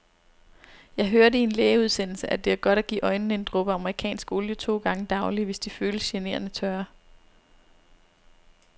Jeg hørte i en lægeudsendelse, at det er godt at give øjnene en dråbe amerikansk olie to gange daglig, hvis de føles generende tørre.